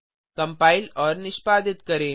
compile और निष्पादित करें